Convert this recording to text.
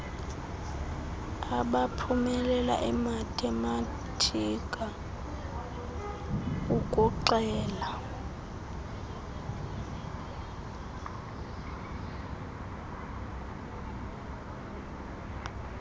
abaphumelela imathematika ukuxela